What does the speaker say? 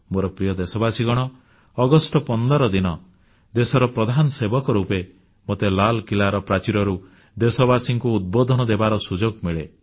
ମୋର ପ୍ରିୟ ଦେଶବାସୀଗଣ ଅଗଷ୍ଟ 15 ଦିନ ଦେଶର ପ୍ରଧାନସେବକ ରୂପେ ମୋତେ ଲାଲକିଲ୍ଲାର ପ୍ରାଚୀରରୁ ଦେଶବାସୀଙ୍କୁ ଉଦ୍ବୋଧନ ଦେବାର ସୁଯୋଗ ମିଳେ